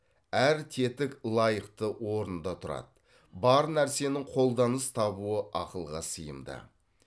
әр тетік лайықты орнында тұрады бар нәрсенің қолданыс табуы ақылға сыйымды